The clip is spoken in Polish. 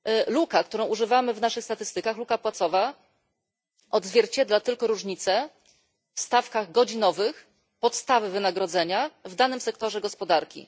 Luka, której używamy w naszych statystykach, luka płacowa, odzwierciedla tylko różnice w stawkach godzinowych podstawy wynagrodzenia w danym sektorze gospodarki.